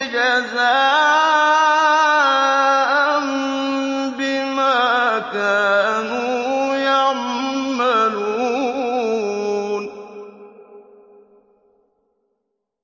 جَزَاءً بِمَا كَانُوا يَعْمَلُونَ